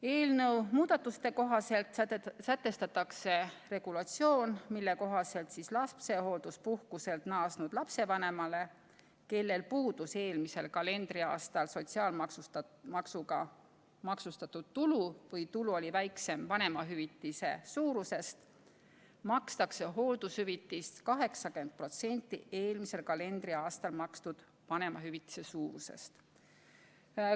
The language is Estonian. Eelnõu muudatuste kohaselt sätestatakse regulatsioon, mille kohaselt lapsehoolduspuhkuselt naasnud lapsevanemale, kellel puudus eelmisel kalendriaastal sotsiaalmaksuga maksustatud tulu või tulu oli väiksem vanemahüvitise suurusest, makstakse hooldushüvitist 80% eelmisel kalendriaastal makstud vanemahüvitise suurusest.